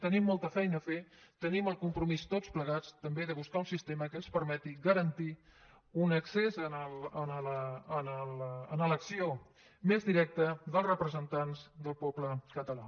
tenim molta feina a fer tenim el compromís tots plegats també de buscar un sistema que ens permeti garantir un accés a l’elecció més directa dels representants del poble català